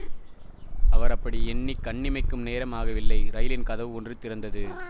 அவர் அப்படி எண்ணி கண்ணிமைக்கும் நேரம் ஆகவில்லை ரயிலின் கதவு ஒன்று திறந்தது